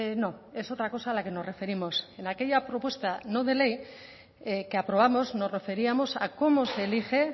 no es otra cosa a la que nos referimos en aquella propuesta no de ley que aprobamos nos referíamos a cómo se elige